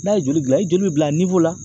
N'a ye joli gilan , i joli bɛ bila la.